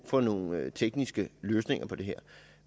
for nogle tekniske løsninger på det